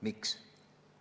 Miks?